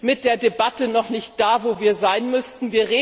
mit der Debatte noch nicht da, wo wir sein müssten.